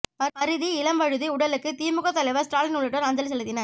பரிதி இளம்வழுதி உடலுக்கு திமுக தலைவர் ஸ்டாலின் உள்ளிட்டோர் அஞ்சலி செலுத்தினர்